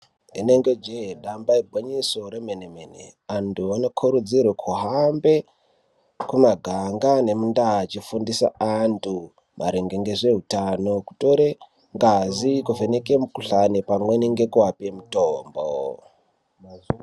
Rinenge jee damba igwinyiso remene-mene antu anokurudzirwa kuhamba mumaganga nemundaa achifundisa antu maringe nezveutano kutore ngazi kuvheneka mukuhlani pamwe nekuvape mutombo.